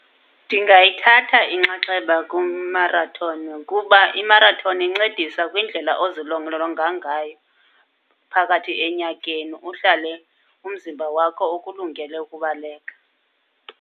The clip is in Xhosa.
Ndingayithatha inxaxheba kumarathoni, kuba imarathoni incedisa kwindlela ozilolonga ngayo phakathi enyakeni. Uhlale umzimba wakho ukulungele ukubaleka.